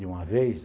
De uma vez?